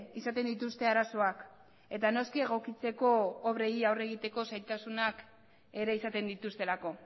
izaten dituzte arazoak eta noski egokitzeko obrei aurre egiteko zailtasunak ere izaten dituztelako